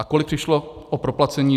A kolik přišlo o proplacení?